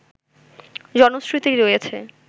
জনশ্রুতি রয়েছে